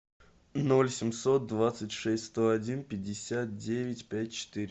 ноль семьсот двадцать шесть сто один пятьдесят девять пять четыре